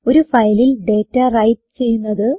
ഒരു ഫയലിൽ data write ചെയ്യുന്നത്